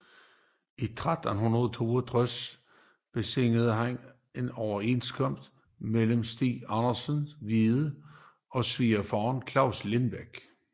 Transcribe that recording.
I 1362 beseglede han en overenskomst mellem Stig Andersen Hvide og svigerfaderen Claus Limbek